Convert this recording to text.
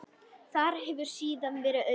Þar hefur síðan verið auðn.